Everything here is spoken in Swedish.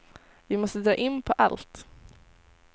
Vi måste dra in på allt.